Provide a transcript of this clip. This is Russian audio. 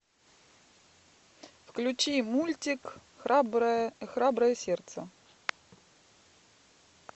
включи мультик храброе храброе сердце